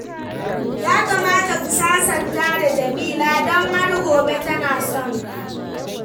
Ya kamata ku sasanta da Jamila don har gobe tana son ka.